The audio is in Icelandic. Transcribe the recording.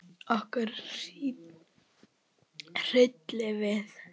Okkur hryllti við.